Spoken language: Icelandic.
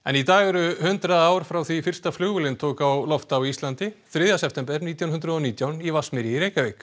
í dag eru hundrað ár frá því fyrsta flugvélin tók á loft á Íslandi þriðja september nítján hundruð og nítján í Vatnsmýri í Reykjavík